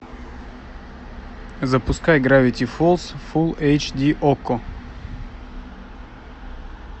запускай гравити фолз фул эйч ди окко